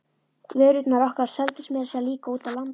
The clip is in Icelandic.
Vörurnar okkar seldust meira að segja líka úti á landi.